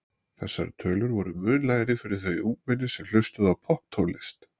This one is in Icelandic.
Þessar tölur voru mun lægri fyrir þau ungmenni sem hlustuðu á popptónlist.